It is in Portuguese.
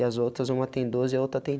E as outras uma tem doze e a outra tem.